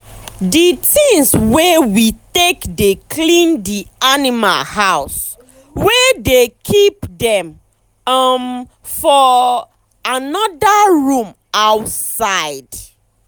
d tins wey we take dey clean d animal house we dey keep um dem um for um um anoda room outside.